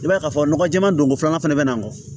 I b'a ye k'a fɔ nɔgɔ jɛman don ko filanan fana bɛ na bɔ